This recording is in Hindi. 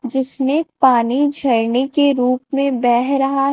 जिसमें पानी झरने के रूप में बह रहा--